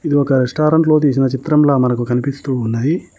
ఇది ఒక రెస్టారెంట్ లో తీసిన చిత్రం లా కనిపిస్తున్నది.